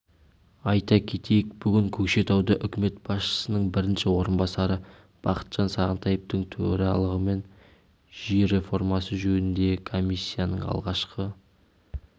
айта кетейік бүгін көкшетауда үкімет басшысының бірінші орынбасары бақытжан сағынтаевтың төрағалығымен жер реформасы жөніндегі комиссияның алғашқы